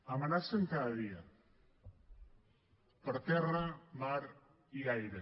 amenacen cada dia per terra mar i aire